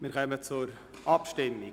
Wir kommen zur Abstimmung.